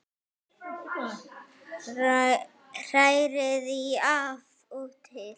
Hrærið í af og til.